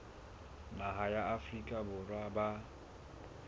naha ya afrika borwa ba